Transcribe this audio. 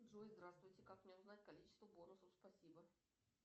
джой здравствуйте как мне узнать количество бонусов спасибо